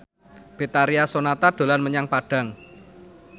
Betharia Sonata dolan menyang Padang